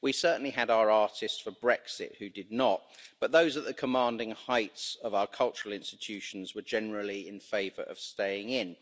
We certainly had our artists for Brexit who did not, but those at the commanding heights of our cultural institutions were generally in favour of staying in.